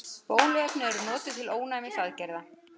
Bóluefni eru notuð til ónæmisaðgerða.